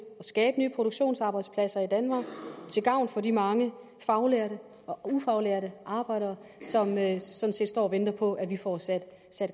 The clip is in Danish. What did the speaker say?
skabe nye produktionsarbejdspladser i danmark til gavn for de mange faglærte og ufaglærte arbejdere sådan set står og venter på at vi får sat